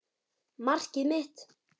Markið mitt?